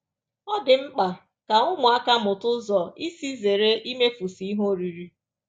Ọ dị mkpa ka ụmụaka mụta ụzọ isi zere imefusị ihe oriri.